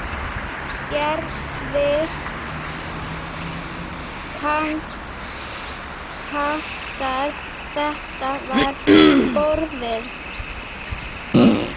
Gerði Kantar þetta við borðið?